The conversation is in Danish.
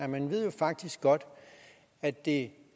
man ved faktisk godt at det